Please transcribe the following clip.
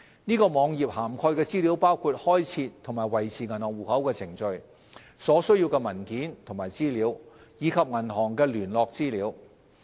此網頁涵蓋的資訊包括開設和維持銀行戶口的程序、所需的文件和資料，以及銀行的聯絡資料。